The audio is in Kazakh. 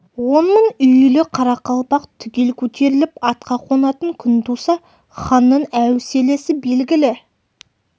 он мың үйлі қарақалпақ түгел көтеріліп атқа қонатын күн туса ханның әуселесі белгілі